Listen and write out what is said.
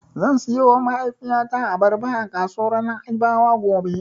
Zan siyowa mahaifiyata Abarba a kasuwar Na'ibawa gobe.